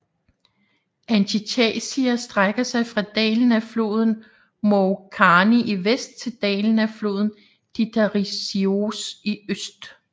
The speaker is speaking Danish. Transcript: Antichasia strækker sig fra dalen af floden Mourgkani i vest til dalen af floden Titarisios i øst